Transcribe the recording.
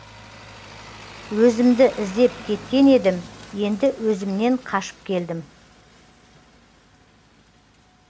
өзімді іздеп кеткен едім енді өзімнен қашып келдім